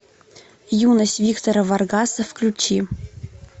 юность виктора варгаса включи